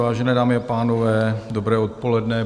Vážené dámy a pánové, dobré odpoledne.